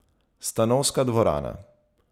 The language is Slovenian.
Stanovska dvorana.